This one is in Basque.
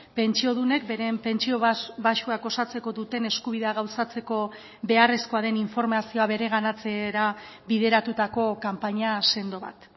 pentsiodunek beren pentsio baxuak osatzeko duten eskubidea gauzatzeko beharrezkoa den informazioa bereganatzera bideratutako kanpaina sendo bat